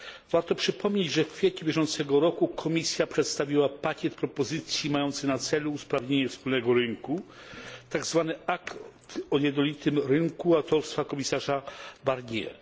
Warto przypomnieć, że w kwietniu bieżącego roku Komisja przedstawiła pakiet propozycji mający na celu usprawnienie wspólnego rynku, tak zwany akt o jednolitym rynku autorstwa komisarza Barnier.